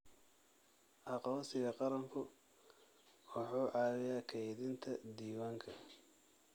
Aqoonsiga qaranku wuxuu caawiyaa kaydinta diiwaanka.